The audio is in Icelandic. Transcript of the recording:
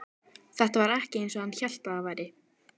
Þetta var ekki eins og hann hélt að það væri.